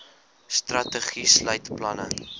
strategie sluit planne